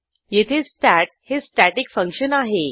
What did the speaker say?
येथे स्टॅट हे static function आहे